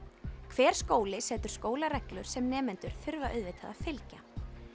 hver skóli setur skólareglur sem nemendur þurfa auðvitað að fylgja